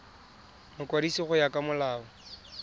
mokwadisi go ya ka molao